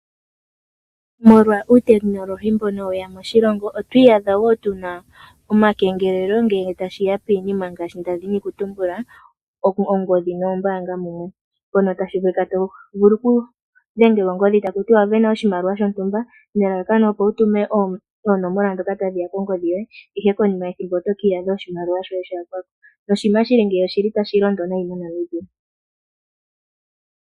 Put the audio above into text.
Molwa uutekinolohi mbono we ya moshilongo, otwi iyadha wo tu na omakengelelo. oshiholelwa ongodhi noombanga mumwe, mpono to vulu okudhengelwa ongodhi kutya owa sindana oshimaliwa shontumba nelalakano owu tume oonomola ndhoka tadhi ya kongodhi yoye, ihe konima yethimbo oto ki iyadha oshimaliwa shoye sha yakwa ko. Oshinima shi li ngeyi otashi londo noonkondo moNamibia.